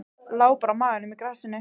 Lá bara á maganum í grasinu.